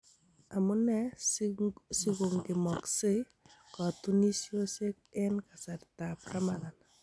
Amuneee sigongemoseei kotunisiosiek en kasrta ab Ramadhan.